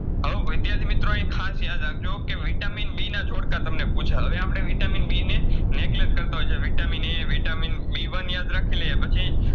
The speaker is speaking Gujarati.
વિદ્યાર્થી મિત્રો એ ખાસ યાદ રાખજો કે Vitamin B ના ઝોડકા તમને પૂછ્યા હવે આપડે Vitamin B કરતાં હોયછે Vitamin A Vitamin B one યાદ રાખીલાઈએ પછી